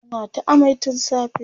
tana ta amai tun safe